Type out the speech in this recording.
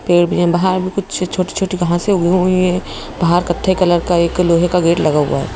पेड़ भी है बाहर भी कुछ छोटी-छोटी घासे उगी हुई है बाहर कत्थई कलर का एक लोहे का गेट लगा हुआ है।